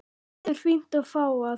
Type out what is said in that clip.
Allt er fínt og fágað.